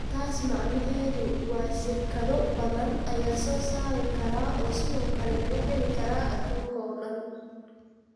Taas macnaheedu waa shirkado badan ayaa soo saari kara oo sidoo kale laga heli karaa adduunka oo dhan.